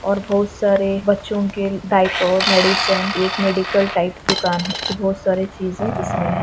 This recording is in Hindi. और बहुत सारे बच्चो के डाइपर मेडिसन एक मेडिकल टाइप दुकान हैं जो बहुत सारे चीजे इसमें--